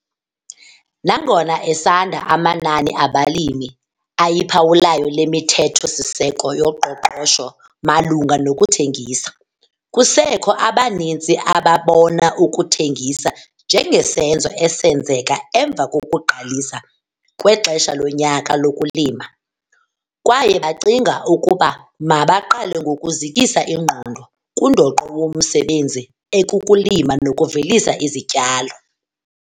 Nangona esanda amanani abalimi ayiphawulayo le mithetho-siseko yoqoqosho malunga nokuthengisa, kusekho abaninzi ababona ukuthengisa njengesenzo esenzeka emva kokuqalisa kwexesha lonyaka lokulima kwaye bacinga ukuba mabaqale ngokuzikisa ingqondo kundoqo womsebenzi ekukulima nokuvelisa izityalo!